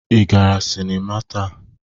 Ị gara sịnịma taa?